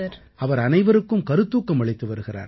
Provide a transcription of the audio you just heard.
அவர் அனைவருக்கும் கருத்தூக்கம் அளித்து வருகிறார்